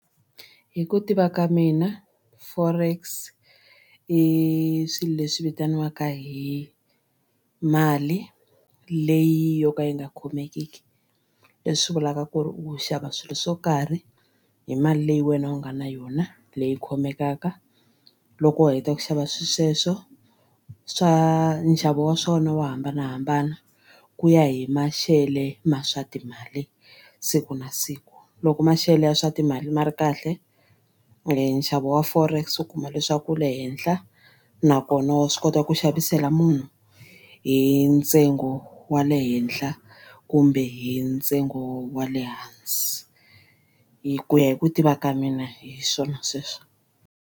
Hi ku tiva ka mina forex i swilo leswi vitaniwaka hi mali leyi yo ka yi nga khomekiki leswi vulaka ku ri u xava swilo swo karhi hi mali leyi wena u nga na yona leyi khomelaka. Loko u heta ku xava swilo sweswo swa nxavo wa swona wo hambanahambana ku ya hi maxele ma swa timali siku na siku. Loko maxelo ya swa timali ma ri kahle nxavo wa forex u kuma leswaku wu le henhla nakona wa swi kota ku xavisela munhu hi ntsengo wa le henhla kumbe hi ntsengo wa le hansi hi ku ya hi ku tiva ka mina hi swona sweswo.